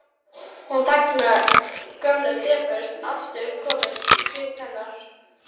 Hún þagnar, gömul depurð aftur komin í svip hennar.